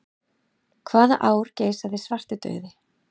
Hvaða ár geisaði svartidauði?